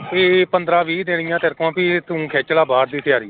ਵੀ ਪੰਦਰਾਂ ਵੀਹ ਤੇਰੀਆਂ ਵੀ ਤੂੰ ਖਿੱਚ ਲਾ ਬਾਹਰ ਦੀ ਤਿਆਰੀ।